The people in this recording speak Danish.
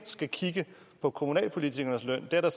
vil kigge på kommunalpolitikernes løn det er da